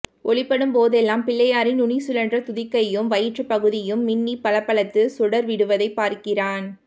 ஒளிபடும்போதெல்லாம் பிள்ளையாரின் நுனிசுழன்ற துதிக்கையும் வயிற்றுப்பகுதியும் மின்னிப் பளபளத்து சுடர்விடுவதைப் பார்க்கிறான்